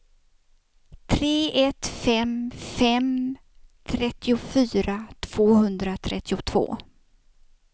tre ett fem fem trettiofyra tvåhundratrettiotvå